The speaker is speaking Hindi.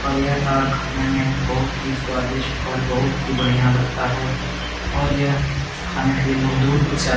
और तार खाने में बहुत ही स्वादिष्ठ और बहुत ही बढ़िया लगता है और यह खाने के लिए लोग बहुत दूर दूर से आ --